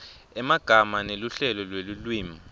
emagama neluhlelo lwelulwimi